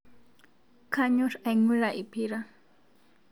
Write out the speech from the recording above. kanyor aing'ura lpira